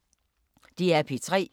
DR P3